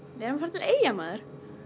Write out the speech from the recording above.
Eyja maður